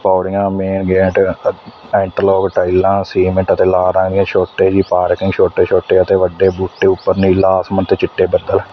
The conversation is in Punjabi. ਪੌੜੀਆਂ ਮੇਨ ਗੇਟ ਐਂਡ ਲੋਕ ਟਾਈਲਾਂ ਸੀਮਿੰਟ ਤੇ ਲਾ ਆਗਿਆ ਛੋਟੇ ਜੀ ਪਾਰਕਿੰਗ ਛੋਟੇ ਛੋਟੇ ਅਤੇ ਵੱਡੇ ਬੂਟੇ ਉੱਪਰ ਨੀਲਾ ਆਸਮਾਨ ਤੇ ਚਿੱਟੇ ਬੱਦਲ--